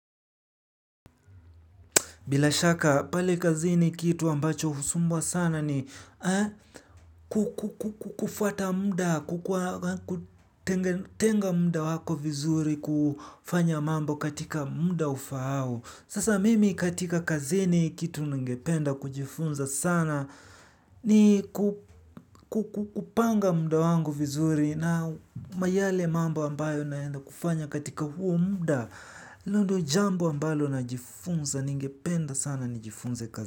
Bila shaka pale kazini kitu ambacho husumbua sana ni kufuata muda, kutenga muda wako vizuri kufanya mambo katika muda ufaao. Sasa mimi katika kazini kitu ningependa kujifunza sana ni kupanga muda wangu vizuri na yale mambo ambayo naenda kufanya katika huo muda hilo ndo jambo ambalo najifunza ningependa sana nijifunze kazini.